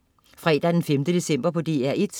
Fredag den 5. december - DR1: